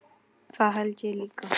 Það held ég líka